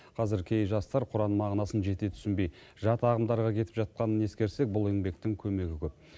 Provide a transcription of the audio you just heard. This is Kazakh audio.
қазір кей жастар құран мағынасын жете түсінбей жат ағымдарға кетіп жатқанын ескерсек бұл еңбектің көмегі көп